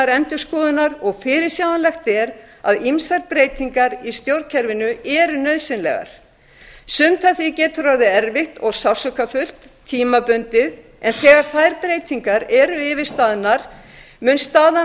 endurskoðunar og fyrirsjáanlegt er að ýmsar breytingar í stjórnkerfinu eru nauðsynlegar sumt af því getur orðið erfitt og sársaukafullt tímabundið en þegar þær breytingar eru yfirstaðnar mun staðan